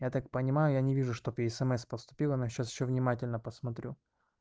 я так понимаю я не вижу чтоб ей смс поступило но сейчас ещё внимательно посмотрю